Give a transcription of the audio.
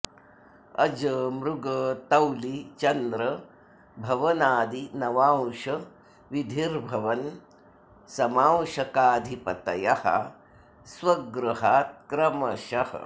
अज मृग तौलि चन्द्र भवनादि नवांश विधिर्भवन समांशकाधिपतयः स्व गृहात् क्रमशः